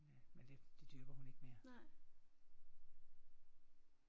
Men det det dyrker hun ikke mere